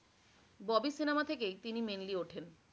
Bobby cinema থেকেই তিনি mainly ওঠেন।